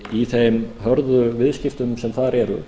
í þeim hörðu viðskiptum sem þar eru